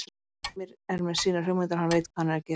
Heimir er með sínar hugmyndir og hann veit hvað hann er að gera.